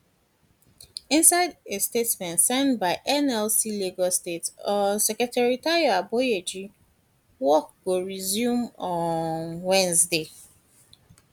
inisde a statement signed by nlc lagos state um secretary tayo aboyeji work go go resume um on wednesday